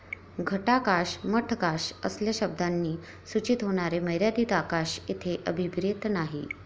घटाकाश, मठकाश असल्या शब्दांनी सुचित होणारे मर्यादित आकाश येथे अभिप्रेत नाही.